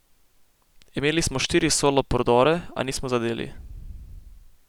Imeli smo štiri solo prodore, a nismo zadeli.